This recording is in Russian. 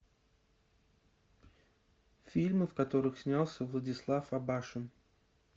фильмы в которых снялся владислав абашин